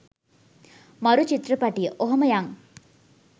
මරු චිත්‍රපටිය ඔහොම යං?